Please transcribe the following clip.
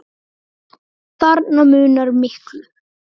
Þarna munar miklu.